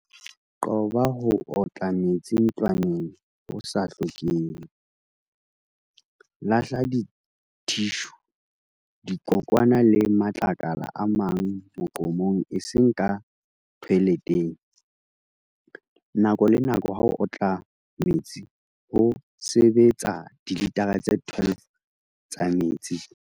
Qoba ho otla metsi ntlwaneng ho sa hlokehe. Lahla dithishu, dikokwana le matlakala a mang moqomong eseng ka thoeletheng. Nako le nako ha o otla metsi ho sebetsa dilitara tse 12 tsa metsi.